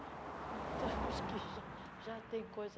Então, acho que já já tem coisa.